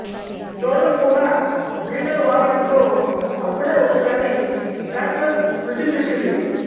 road కూడా బీటలు వారడంతో అప్పుడే ఒకసారి ప్యాచ్ వర్క్ రుచి చూసింది